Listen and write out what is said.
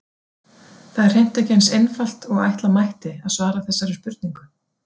Það er hreint ekki eins einfalt og ætla mætti að svara þessari spurningu.